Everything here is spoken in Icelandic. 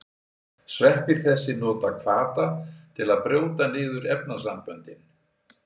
Sveppir þessir nota hvata til að brjóta niður efnasamböndin.